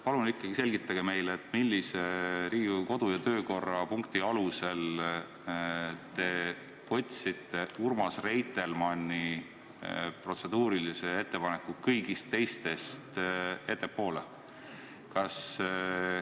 Palun selgitage meile, millise Riigikogu kodu- ja töökorra punkti alusel te võtsite Urmas Reitelmanni protseduurilise ettepaneku kõigist teistest ettepoole.